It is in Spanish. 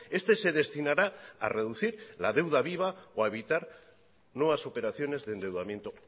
este se destinará a reducir la deuda viva o a evitar nuevas operaciones de endeudamiento